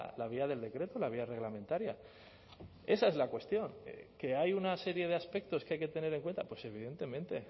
la vía del decreto la vía reglamentaria esa es la cuestión que hay una serie de aspectos que hay que tener en cuenta pues evidentemente